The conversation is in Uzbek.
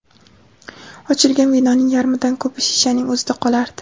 Ochilgan vinoning yarmidan ko‘pi shishaning o‘zida qolardi.